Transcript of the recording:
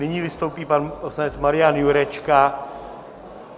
Nyní vystoupí pan poslanec Marian Jurečka.